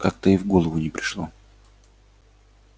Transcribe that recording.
как-то и в голову не пришло